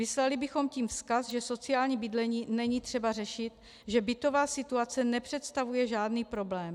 Vyslali bychom tím vzkaz, že sociální bydlení není třeba řešit, že bytová situace nepředstavuje žádný problém.